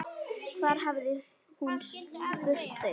Hvar hafði hún spurt þau?